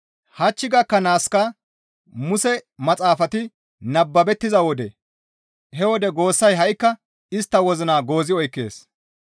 Hach gakkanaaska Muse maxaafati nababettiza wode he wode goossay ha7ikka istta wozina goozi oykkees.